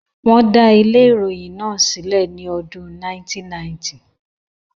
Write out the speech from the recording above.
Íà äàííûé ãîä â 1990 ãîäó â 1990 ãîäó.